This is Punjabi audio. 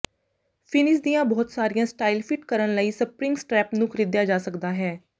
ਫਿਨਿਸ ਦੀਆਂ ਬਹੁਤ ਸਾਰੀਆਂ ਸਟਾਈਲ ਫਿੱਟ ਕਰਨ ਲਈ ਸਪਰਿੰਗ ਸਟ੍ਰੈਪ ਨੂੰ ਖਰੀਦਿਆ ਜਾ ਸਕਦਾ ਹੈ